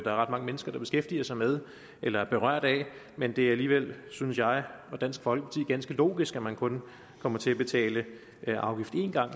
er ret mange mennesker der beskæftiger sig med eller er berørt af men det er alligevel synes jeg og dansk folkeparti ganske logisk at man kun kommer til at betale afgift en gang